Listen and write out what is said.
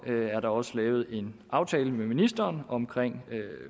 er der også lavet en aftale med ministeren om